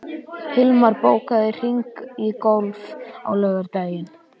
Hilmar, bókaðu hring í golf á laugardaginn.